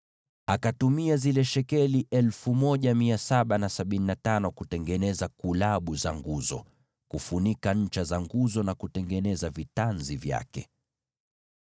Akatumia zile shekeli hizo 1,775 kutengeneza kulabu za nguzo, kufunika ncha za nguzo na kutengeneza vitanzi vyake.